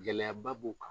Gɛlɛyaba b'u kan